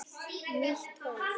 Nýtt hólf.